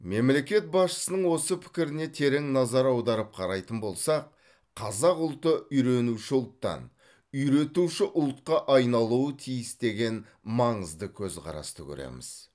мемлекет басшысының осы пікіріне терең назар аударып қарайтын болсақ қазақ ұлты үйренуші ұлттан үйретуші ұлтқа айналуы тиіс деген маңызды көзқарасты көреміз